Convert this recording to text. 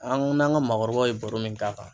An ko n'an ka maakɔrɔbaw ye baro min k'a kan